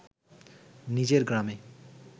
নিজের গ্রামে